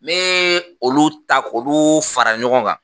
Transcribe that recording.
N bɛ olu ta k'olu fara ɲɔgɔn kan